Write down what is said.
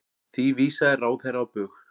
Því vísaði ráðherra á bug.